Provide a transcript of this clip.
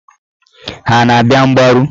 Ha a na-abịa mgbaru?